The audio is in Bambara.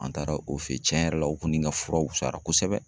An taara o fe yen, tiɲɛn yɛrɛ la o kɔni ka furaw wusayara kosɛbɛ.